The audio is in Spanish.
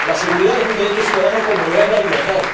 La seguridad es un derecho ciudadano, como lo es la libertad.